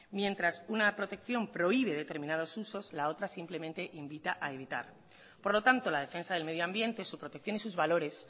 mientras una protección prohíbe determinados usos la otra simplemente invita a evitar por lo tanto la defensa del medio ambiente su protección y sus valores